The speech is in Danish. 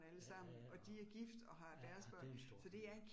Ja, ja ja og ja, ja det en stor familie